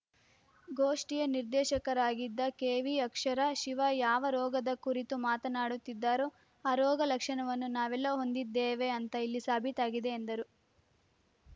ಗೋಷ್ಠಿಯ ನಿರ್ದೇಶಕರಾಗಿದ್ದ ಕೆವಿಅಕ್ಷರ ಶಿವ ಯಾವ ರೋಗದ ಕುರಿತು ಮಾತನಾಡುತ್ತಿದ್ದಾರೋ ಆ ರೋಗ ಲಕ್ಷಣವನ್ನು ನಾವೆಲ್ಲಾ ಹೊಂದಿದ್ದೇವೆ ಅಂತ ಇಲ್ಲಿ ಸಾಬೀತಾಗಿದೆ ಎಂದರು